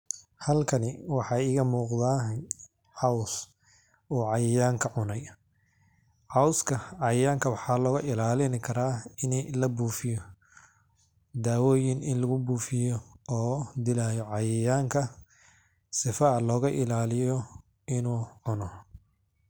Halkani waxa iga muqada cows o cayayanka cunay cowska cayayanka waxa loga ilalani kara in labuufiyo, dawoyin in lugu bufiyo oo dilayo cayayanka, sifa oo loga ilaliyo inu cuno.